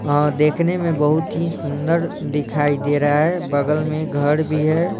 और देखने में बहुत ही सुंदर दिखाई दे रहा है बगल में घड़ भी है।